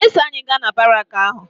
Ị ga-eso anyị gaa na baraakị ahụ?